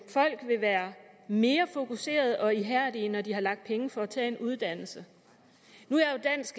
at folk vil være mere fokuserede og ihærdige når de har lagt penge for at tage en uddannelse nu